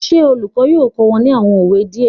Will the teacher teach them some proverbs